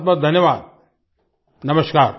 बहुतबहुत धन्यवाद नमस्कार